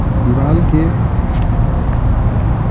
दीवाल के --